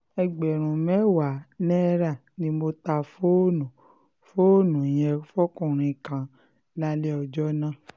ẹgbẹ̀rún mẹ́wàá náírà ni mo ta fóònù fóònù yẹn fókunrin kan lálẹ́ ọjọ́ náà